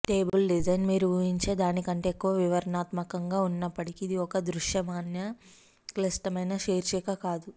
table design మీరు ఊహించే దాని కంటే ఎక్కువ వివరణాత్మకంగా ఉన్నప్పటికీ ఇది ఒక దృశ్యమాన క్లిష్టమైన శీర్షిక కాదు